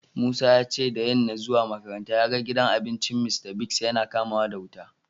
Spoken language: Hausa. Musa ya ce da yanna zuwa makaranta ya gan gidan abincin Mr.Biggs yana kama wuta.